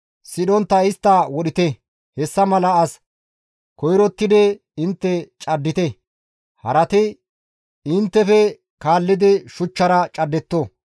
Sidhontta istta wodhite; hessa mala as koyrottidi intte caddite; harati inttefe kaallidi shuchchara caddetto.